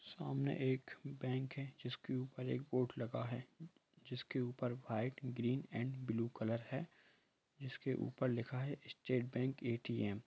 सामने एक बैक हैं जिसके ऊपर एक बोर्ड लगा है जिसके ऊपर वाईट ग्रीन एन्ड ब्लू हैं जिसके ऊपर लिखा हैं स्टेट बेंक ऐ.टी.एम ।